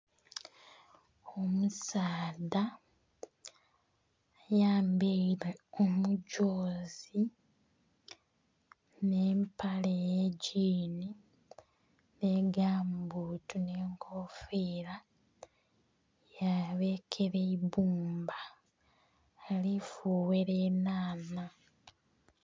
Omusaadha ayambaile...<skip> kumugyozi nh'empale y'egyiini, nhi gamubbutu nh'enkofiira. Yabekera eibbumba, ali fughera enhanha.